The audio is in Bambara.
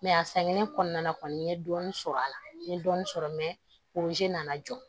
a sɛgɛnnen kɔnɔna na kɔni n ye dɔɔnin sɔrɔ a la n ye dɔɔnin sɔrɔ mɛ oze nana jɔ